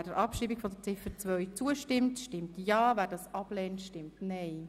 Wer der Abschreibung von Ziffer 2 zustimmt, stimmt ja, wer dies ablehnt, stimmt nein.